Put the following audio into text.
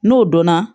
N'o donna